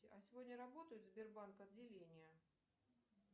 а сегодня работают сбербанк отделения